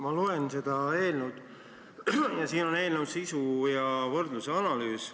Ma loen seda eelnõu ja siin on eelnõu sisu ja võrdluse analüüs.